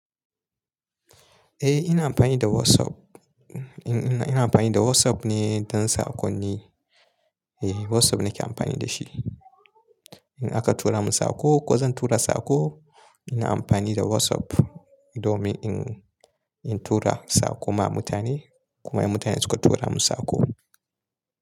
Eh ina amfani da WhatsApp. Ina amfani da WhatsApp ne don sakonni. Eh WhatsApp nake amfani da shi. In aka tura mun saƙo ko zan tura saƙo ina amfani da WhatsApp domin in, in tura saƙo ma mutane kuma mutane suka tura mun saƙo.